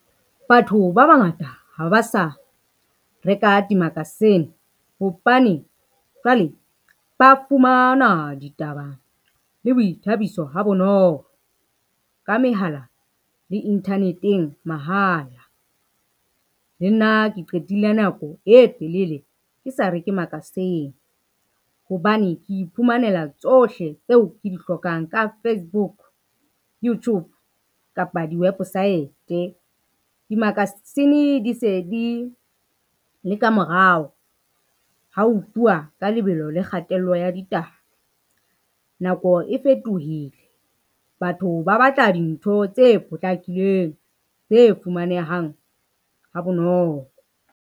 Batho ba bangata ha ba sa reka dimakasene, hobane jwale ba fumana ditaba le boithabiso ha bonolo ka mehala le inthaneteng mahala. Le nna ke qetile nako e telele ke sa reke makasene, hobane ke iphumanela tsohle tseo ke di hlokang ka Facebook, Youtube kapa diwepesaete. Dimakasine di se di le ka morao ha ho tluwa ka lebelo le kgatello ya ditaba nako e fetohile, batho ba batla dintho tse potlakileng tse fumanehang ha bonolo.